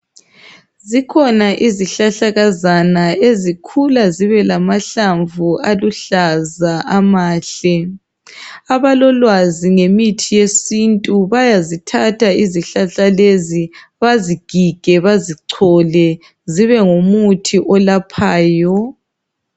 Zikhona izihlahlakazana ezikhula zibelamahlamvu aluhlaza amahle. Abalolwazi ngemithi yesintu bayazithatha izihlahla lezi bazigige , bazichole zibe ngumuthi olaphayo.